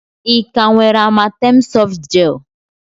Ị ka nwere Amatem softgel?